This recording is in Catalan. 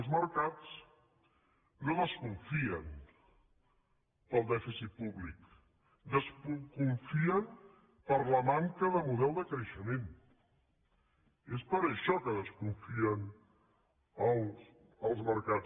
els mercats no desconfien pel dèficit públic desconfien per la manca de model de creixement és per això que desconfien els mercats